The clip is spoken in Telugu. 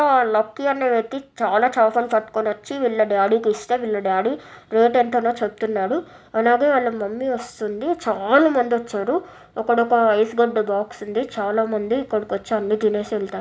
చాలా చాపలు పట్టుకొని వచ్చి వీళ్ళ డాడీ కి ఇస్తే వీళ్ళ డాడి రేట్ ఎంతనో చెప్తున్నాడు అలాగే వాళ్ళ మమ్మీ వస్తుంది చాలా మంది వచ్చారు అక్కడ ఒక ఐస్ గడ్డ బాక్స్ ఉంది చాలా మంది ఇక్కడికి వచ్చి అన్ని తినేసి వెళ్తా--